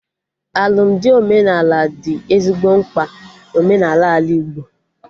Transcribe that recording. Alụmdi omenala dị ezigbo mkpa na omenaala Ala Igbo